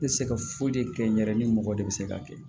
N tɛ se ka foyi de kɛ n yɛrɛ ni mɔgɔ de bɛ se k'a kɛ